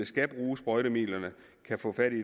skal bruge sprøjtemidlerne kan få fat